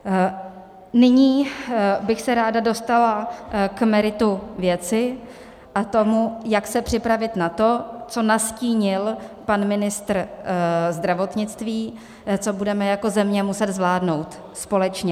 Nyní bych se ráda dostala k meritu věci a tomu, jak se připravit na to, co nastínil pan ministr zdravotnictví, co budeme jako země muset zvládnout společně.